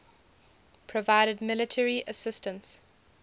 provided military assistance